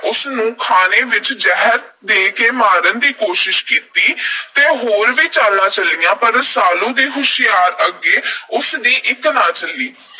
ਉਸ ਨੂੰ ਖਾਣੇ ਵਿਚ ਜ਼ਹਿਰ ਦੇ ਕੇ ਮਾਰਨ ਦੀ ਕੋਸ਼ਿਸ਼ ਕੀਤੀ ਤੇ ਹੋਰ ਵੀ ਚਾਲਾਂ ਚੱਲੀਆਂ ਪਰ ਰਸਾਲੂ ਦੀ ਹੁਸ਼ਿਆਰੀ ਅੱਗੇ ਉਸ ਦੀ ਇਕ ਨਾ ਚੱਲੀ।